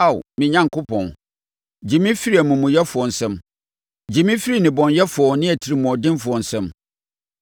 Ao me Onyankopɔn, gye me firi amumuyɛfoɔ nsam, gye me firi nnebɔneyɛfoɔ ne atirimuɔdenfoɔ nsam.